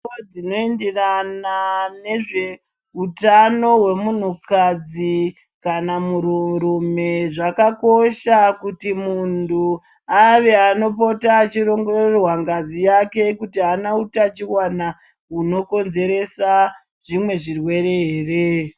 Mitombo dźnoenderana nezveutano hwemunhu kadzi kana muntu rume zvakakoshakuti muntu ave anopota achioʻngororwa ngazi yake kuti hna utachiwana unokonzeresa zvimwe zvirwere here.